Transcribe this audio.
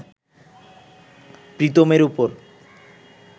প্রীতমের ওপর